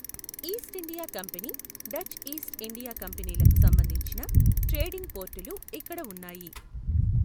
East India company, Dutch East India కంపెనీలకు సంబంధించిన trading పోర్టులు ఇక్కడ ఉన్నాయి.